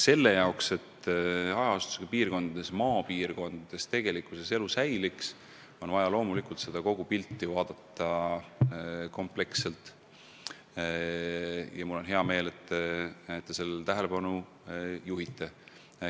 Selle jaoks, et hajaasustusega maapiirkondades elu säiliks, on vaja loomulikult kogu pilti vaadata kompleksselt ja mul on hea meel, et te sellele tähelepanu juhite.